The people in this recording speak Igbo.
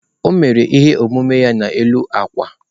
O mere ihe omume ya n'elu akwa.